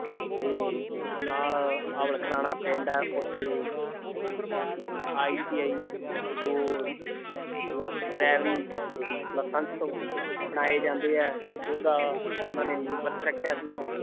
ਤੇ ਨਾਲ ਪਿੰਡ ਹੈ ਉੱਥੇ ITI ਜੋ ਡਰਾਇਵਰੀ licence ਬਣਾਏ ਜਾਂਦੇ ਹੈ ਉਹਦਾ ਉਹਨਾਂ ਨੇ ਨੀਂਹ ਪੱਥਰ ਰੱਖਿਆ ਸੀ l